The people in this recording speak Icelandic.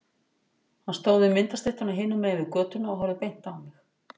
Hann stóð við myndastyttuna hinum megin við götuna og horfði beint á mig.